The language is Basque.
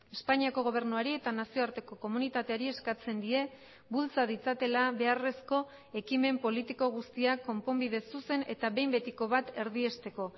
espainiako gobernuari eta nazioarteko komunitateari eskatzen die bultza ditzatela beharrezko ekimen politiko guztiak konponbide zuzen eta behin betiko bat erdiesteko